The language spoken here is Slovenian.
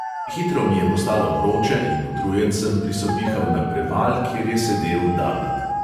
Hitro mi je postalo vroče in utrujen sem prisopihal na preval, kjer je sedel david.